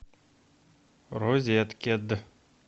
розеткед